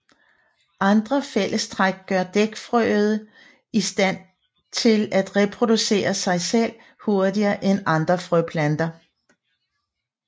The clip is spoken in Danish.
Andre fællestræk gør dækfrøede i stand til at reproducere sig selv hurtigere end andre frøplanter